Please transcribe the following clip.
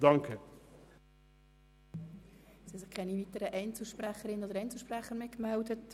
Zu Artikel 31a (neu) haben sich keine weiteren Einzelsprecherinnen oder Einzelsprecher mehr gemeldet.